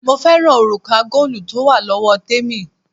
Mo fẹ́ràn òrùka góòlù tó wà lọ́wọ́ témì,